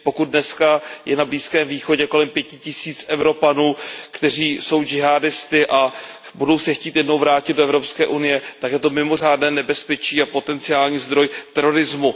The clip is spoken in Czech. Pokud dneska je na Blízkém východě kolem pěti tisíc Evropanů, kteří jsou džihádisty a budou se chtít jednou vrátit do Evropské unie, tak je to mimořádné nebezpečí a potenciální zdroj terorismu.